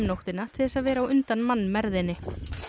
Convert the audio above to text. nóttina til þess að vera á undan mannmergðinni